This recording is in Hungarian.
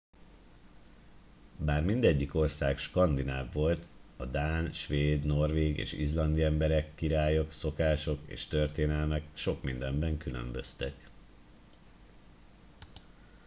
bár mindegyik ország skandináv volt a dán svéd norvég és izlandi emberek királyok szokások és történelmek sok mindenben különböztek